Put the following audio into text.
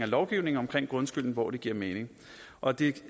lovgivningen omkring grundskylden hvor det giver mening og det